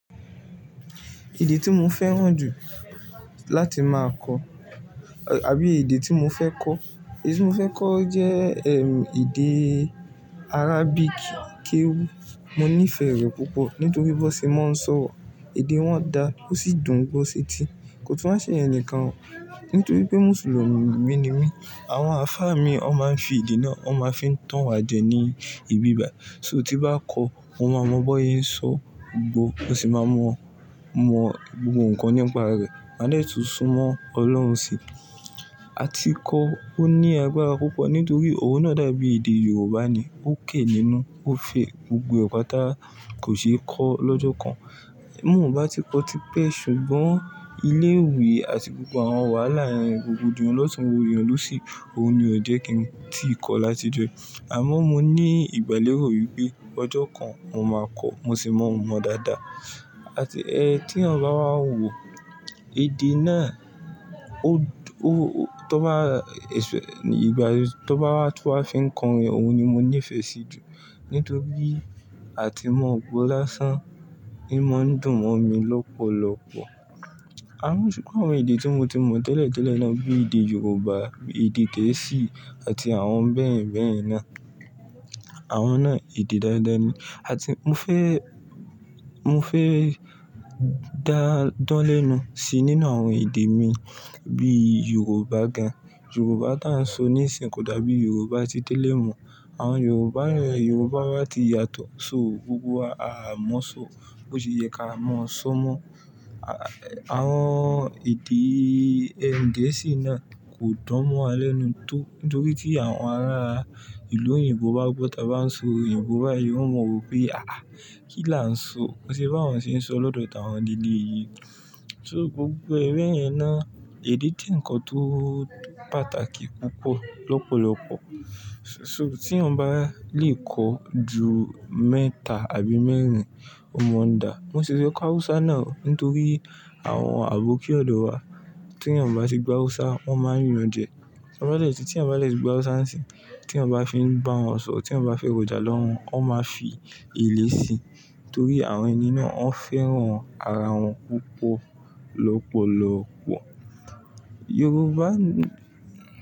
Èdè tí mo fẹ́ràn jù láti máa kọ àbí èdè tí mo fẹ́ kọ, èdè tí mo fẹ́ kọ jẹ́ èdè Arabic, Keu. Mo nífẹ̀ẹ́ rẹ̀ púpọ̀ nítorí bó ṣe máa ń sọ, èdè wọn dà, ó sì dùn gbó ṣeti. Kò tún wa ṣe iyen nìkan nítorí pé Mùsùlùmí ni mí. Àwọn àfá mi ó máa ń fi èdè náà, ó máa ń fi tanwa jẹ ní ìbí bayi. So tí bá kọ́, mo máa mọ bóye ń sọ gbogbo, mo sì máa mọ, mọ gbogbo ǹkan nípa rẹ̀, máa de tún sún mọ Ọlọ́run sí i. Àti kó ó ní agbára púpọ̀ nítorí òun náà dàbí èdè Yorùbá ni, ó ké nínú, ó fẹ́ gbogbo ẹ̀pà tá kò ṣe é kọ́ lọ́jọ́ kan. Mo ò bá ti kọ́ tipẹ́ ṣùgbọ́n ilé ìwé àti gbogbo àwọn wàhálà yẹn, rogbodiyan ló tún rogbodiyan lọ sì, òun ni ò jẹ́ kí n tíì kọ̀ láti jo yii. Àmọ́ mo ní ìgbàlèró yìí pé ọjọ́ kan mo máa kọ́, mo sì mọ́ o mọ dáadáa. Àti ẹ tí eyan bá wà wò èdè náà, ó, tó bá, ìgbà ẹ tó bá wá fí ń kọrin, òun ni mo nífẹ̀ẹ́ sí jù nítorí àti mọ gbo lásán in maa dùn mọ́ mi lọ́pọ̀lọpọ̀. Àmọ́ ṣùgbọ́n àwọn èdè tí mo ti mọ tẹ́lẹ̀ tẹ́lẹ̀ náà bíi èdè Yorùbá, èdè Gẹ̀ẹ́sì àti àwọn bẹ́ẹ̀ bẹ́ẹ̀ náà, àwọn náà èdè dáadáa ni. Àti mo fẹ́, mo fẹ́ dáń dan lenu sí nínú àwọn èdè mi bí Yorùbá gan. Yorùbá tí à ń sọ níìsín kò dàbí Yorùbá tí tẹ́lẹ̀ mọ̀. Àwọn Yorùbá yen Yorùbá wa ti yàtọ̀, so gbogbo wa a há mọ̀ sọ, bó se yẹ ká mọ sọ mọ́. Àwọn èdè Gẹ̀ẹ́sì náà kò dán mó wa lẹ́nu tó nítorí tí àwọn ará ìlú òyìnbó bá gbọ́ táa bá ń sọ òyìnbó báyìí, wọn máa mọ wípé àáa kí là ń sọ? Kò sí bá wọn sì ń sọ lọ́dọ̀ tàwọn leleyii. So gbogbo e beyẹn náà èdè je ǹkan tó pàtàkì púpọ̀ lọ́pọ̀lọpọ̀. So tí eyan bá lè kọ́ ju mẹ́ta àbí mẹ́rin o máa n dà. Mo sì fẹ́ kọ́ Hausa náà nítorí àwọn àbókí ọ̀dọ̀ wa tí eyan bá ti gbo Hausa, wọ́n máa n yan jẹ, ti won ba deti. Tí eyan bá de ti gbo Hausa nisin, tí eyan bá fi ń bá wọn sọ̀rọ̀, tí wọ́n bá fẹ́ rojà lọ́wọ́, wọ́n máa fi èlé síi nítorí àwọn ẹni náà ó fẹ́ràn ara wọn púpọ̀ lọ́pọ̀lọpọ̀. Yorùbá ni.